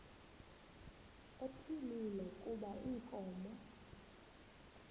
ephilile kuba inkomo